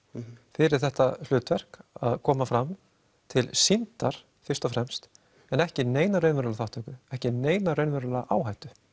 fyrir þetta hlutverk að koma fram til sýndar fyrst og fremst en ekki neina raunverulega þátttöku ekki neina raunverulega áhættu